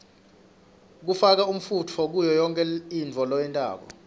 kufaka umfunto kuyoyonkhe intfo loyentako